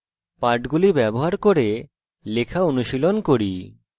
পাঠগুলি ব্যবহার করে লেখা অনুশীলন করি